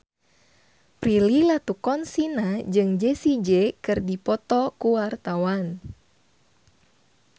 Prilly Latuconsina jeung Jessie J keur dipoto ku wartawan